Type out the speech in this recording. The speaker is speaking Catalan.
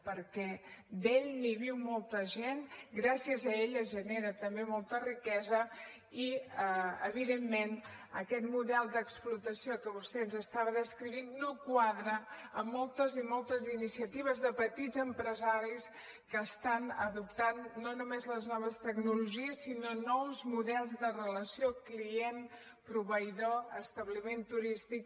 perquè d’ell en viu molta gent gràcies a ell es genera també molta riquesa i evidentment aquest model d’explotació que vostè ens estava descrivint no quadra amb moltes i moltes iniciatives de petits empresaris que estan adoptant no només les noves tecnologies sinó nous models de relació client proveïdor establiment turístic